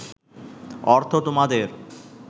অর্থ তোমাদের